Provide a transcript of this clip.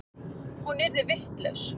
Hún yrði vitlaus.